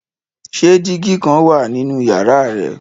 Ṣe digi kan wa ninu yara rẹ?